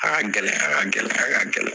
A ka gɛlɛya ka gɛlɛya ka gɛlɛ